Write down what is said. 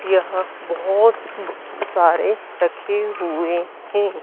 यहां बहुत सारे रखे हुए हैं।